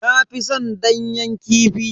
Na fi san danyen kifi.